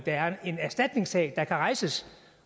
er en erstatningssag der kan rejses